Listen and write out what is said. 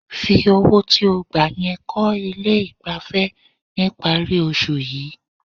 Fi owó tí ó gbà yẹn kọ́ ilé ìgbafẹ́ níparí oṣù yìí.